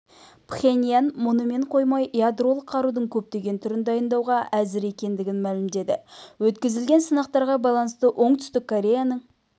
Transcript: пхеньян мұнымен қоймай ядролық қарудың көптеген түрін дайындауға әзір екендігін мәлімдеді өткізілген сынақтарға байланысты оңтүстік кореяның